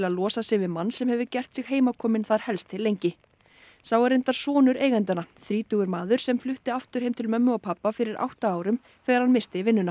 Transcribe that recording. losa sig við mann sem hefur gert sig heimakominn þar helst til lengi sá er reyndar sonur eigendanna þrítugur maður sem flutti aftur heim til mömmu og pabba fyrir átta árum þegar hann missti vinnuna